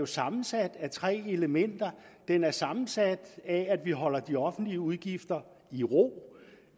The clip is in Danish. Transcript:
sammensat af tre elementer den er sammensat af at vi holder de offentlige udgifter i ro